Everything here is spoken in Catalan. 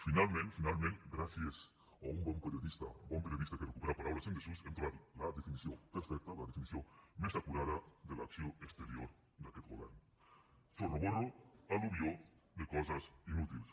finalment finalment gràcies a un bon periodista bon periodista que recupera paraules en desús hem trobat la definició perfecta la definició més acurada de l’acció exterior d’aquest govern chorroborro al·luvió de coses inútils